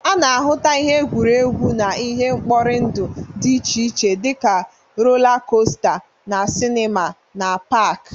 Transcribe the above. A na-ahụta ihe egwuregwu na ihe nkpọrị ndụ dị iche dị ka rola kosta, na sinima na pak.